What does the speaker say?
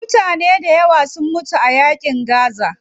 Mutane dayawa sun mutum a yaƙin gaza.